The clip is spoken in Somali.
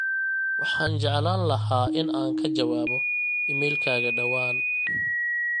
waxaan jeclaan lahaa in aan ka jawaabo iimaylkayga dhawaan